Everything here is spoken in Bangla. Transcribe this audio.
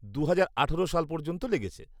দু'হাজার আঠেরো সাল পর্যন্ত লেগেছে।